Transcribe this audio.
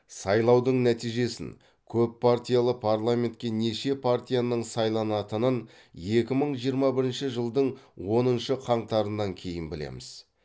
сайлаудың нәтижесін көппартиялы парламентке неше партияның сайланатынын екі мың жиырма бірінші жылдың оныншы қаңтарынан кейін білеміз